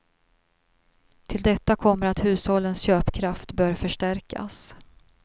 Till detta kommer att hushållens köpkraft bör förstärkas.